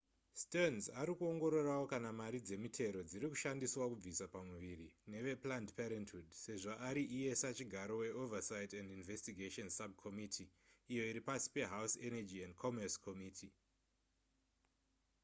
stearns ari kuongororawo kana mari dzemitero dziri kushandiswa kubvisa pamuviri neveplanned parenthood sezvo ari iye sachigaro weoversight and investigations subcommitttee iyo iri pasi pehouse energy and commerce committee